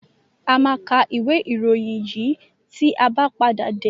A máa ka ìwé-ìròyìn yìí tí a bá padà dé.